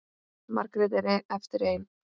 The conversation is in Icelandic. Margrét er eftir ein.